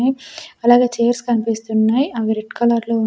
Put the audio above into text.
నాయ్ అలాగే చైర్స్ కనిపిస్తున్నాయ్ అవి రెడ్ కలర్ లో --